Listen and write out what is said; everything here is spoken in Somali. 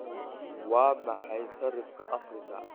Waa maxay sarifka Afrika?